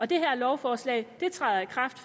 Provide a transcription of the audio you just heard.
det her lovforslag træder i kraft